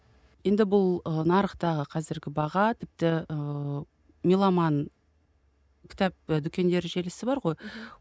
енді бұл ы нарықтағы қазіргі баға тіпті ыыы меломан кітап дүкендер желісі бар ғой мхм